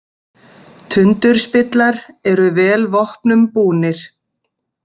Tundurspillar eru vel vopnum búnir.